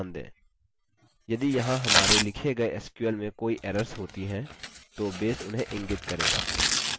यदि यहाँ हमारे लिखे गये sql में कोई errors होती हैं तो base उन्हें इंगित करेगा